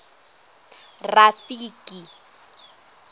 rafiki